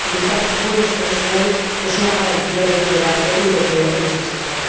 Necesitamos buenos profesionales, pues son la garantía de liderazgo europeo en este sector.